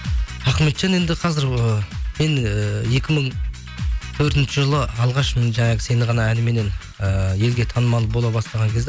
ахметжан енді қазір ы мен ііі екі мың төртінші жылы алғаш жаңағы сені ғана әніменен ііі елге танымал бола бастаған кезде